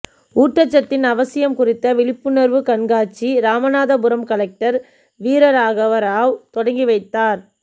ஊட்டச்சத்தின் அவசியம் குறித்த விழிப்புணர்வு கண்காட்சி ராமநாதபுரம் கலெக்டர் வீரராகவராவ் தொடங்கி வைத்தார்